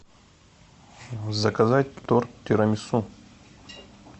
заказать торт тирамису